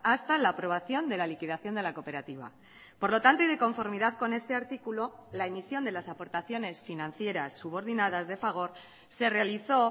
hasta la aprobación de la liquidación de la cooperativa por lo tanto y de conformidadcon este artículo la emisión de las aportaciones financieras subordinadas de fagor se realizó